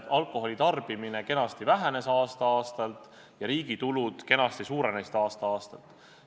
Alkoholi tarbimine kenasti vähenes aasta-aastalt ja riigi tulud kenasti suurenesid aasta-aastalt.